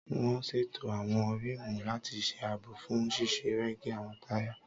Wọ́n ṣètò àwọn rímùù láti ṣe àbò fún ṣíṣe rẹ́gí àwọn táyà